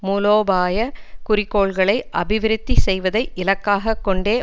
மூலோபாய குறிக்கோள்களை அபிவிருத்தி செய்வதை இலக்காக கொண்டே